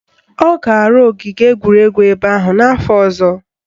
Ọ ga-arụ ogige egwuregwu ebe ahụ n'afọ ọzọ